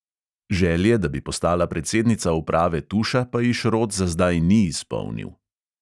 Želje, da bi postala predsednica uprave tuša, pa ji šrot za zdaj ni izpolnil.